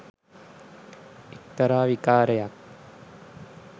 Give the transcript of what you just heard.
එක්තරා විකාරයක්.